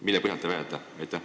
Mille põhjal te seda väidate?